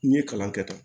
N ye kalan kɛ tan